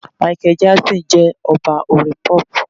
Michael Jackson jẹ́ Ọba orin Pop.